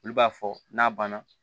Olu b'a fɔ n'a banna